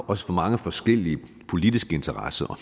også mange forskellige politiske interesser